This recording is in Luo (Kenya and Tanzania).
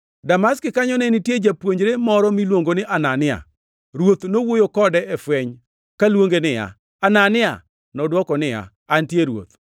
Damaski kanyo ne nitie japuonjre moro miluongo ni Anania. Ruoth nowuoyo kode e fweny, kaluonge niya, “Anania!” Nodwoko niya, “Antie, Ruoth.”